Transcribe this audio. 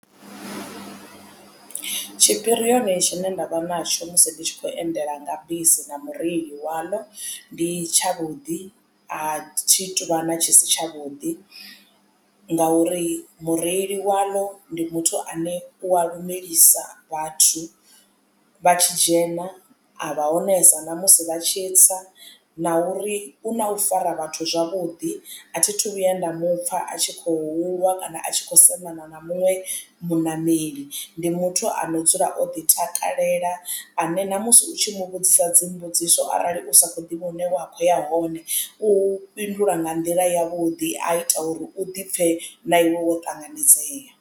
Tshipirioni tshine nda vha natsho musi ndi tshi khou endela nga bisi na mureili waḽo ndi tshavhuḓi a thi tuvha na tshi si tshavhuḓi ngauri mureili waḽo ndi muthu ane u a lumelisa vhathu vha tshi dzhena a vha onesa na musi vha tshi tsa. Na uri u na u fara vhathu zwavhuḓi a thithu vhuya nda mupfa a tshi khou lwa kana a tshi kho sedzana na muṅwe muṋameli ndi muthu ano dzula o ḓitakalela ane na musi u tshi mu vhudzisa dzimbudziso arali u sa kho ḓivha hune wa kho ya hone u fhindula nga nḓila yavhuḓi a ita uri u ḓipfhe na iwe wo ṱanganedzea